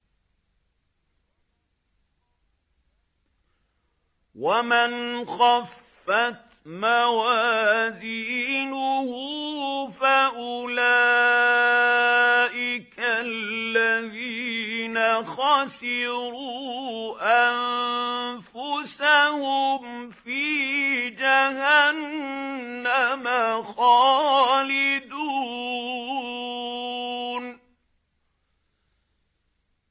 وَمَنْ خَفَّتْ مَوَازِينُهُ فَأُولَٰئِكَ الَّذِينَ خَسِرُوا أَنفُسَهُمْ فِي جَهَنَّمَ خَالِدُونَ